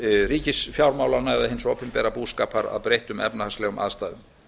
ríkisfjármálanna eða hins opinbera búskapar að breyttum efnahagslegum aðstæðum